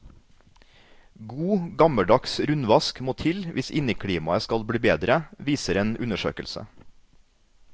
God gammeldags rundvask må til hvis inneklimaet skal bli bedre, viser en undersøkelse.